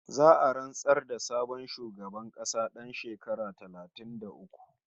Za'a rantsar da sabon shugaban ƙasa ɗan shekara talatin da uku